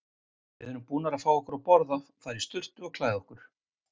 Við erum búnar að fá okkur að borða, fara í sturtu og klæða okkur.